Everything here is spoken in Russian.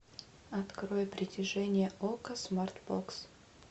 открой притяжение окко смарт бокс